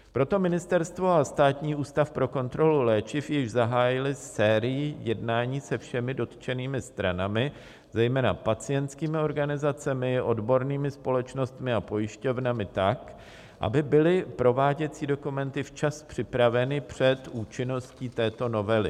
Proto ministerstvo a Státní ústav pro kontrolu léčiv již zahájily sérii jednání se všemi dotčenými stranami, zejména pacientskými organizacemi, odbornými společnostmi a pojišťovnami tak, aby byly prováděcí dokumenty včas připraveny před účinností této novely.